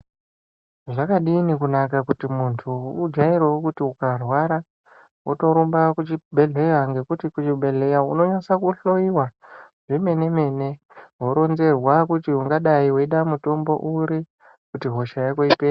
Zvakadini wokunaka kuti muntu ujairewo kuti ukarwara wotorumba kuchibhedhlera ngekuti kuchibhedhlera unonyaso kuhloiwa zvemene mene woronzerwa kuti ungadai weida mutombo uri kuti hosha Yako ipere.